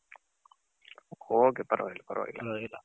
ok ಪರವಾಗಿಲ್ಲ